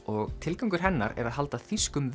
og tilgangur hennar er að halda þýskum